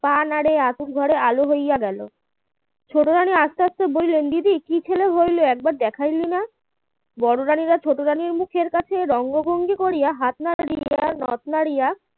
পা নাড়ে আতুর ঘরে আলো হইয়া গেল ছোট রানী আস্তে আস্তে বললেন দিদি কি ছেলে হল একবার দেখাল না বড় রানী ছোট রানীর মুখের কাছের অঙ্গভঙ্গি করে হাত নাড়া দিয়ে নথ নাড়িয়া